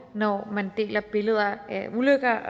når man deler billeder af ulykker